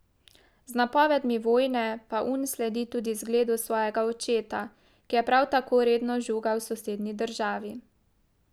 Z napovedmi vojne pa Un sledi tudi zgledu svojega očeta, ki je prav tako redno žugal sosednji državi.